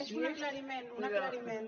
és un aclariment un aclariment